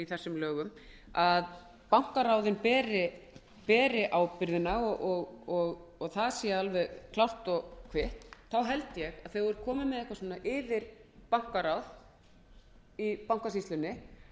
þessu frumvarpi að bankaráðin beri ábyrgðina og það sé alveg klárt og kvitt held ég að þegar maður er kominn með eitthvert